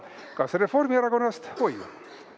Kas Reformierakonnast …?